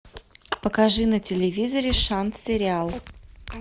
покажи на телевизоре шант сериал